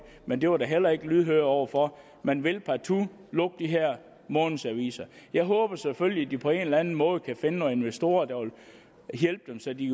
men det var der heller ikke lydhørhed over for man vil partout lukke de her månedsaviser jeg håber selvfølgelig at de på en eller anden måde kan finde nogle investorer der vil hjælpe dem så de